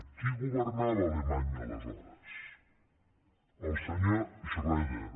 qui governava alemanya aleshores el senyor schröder